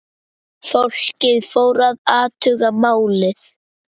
Fólkið fór að athuga málið.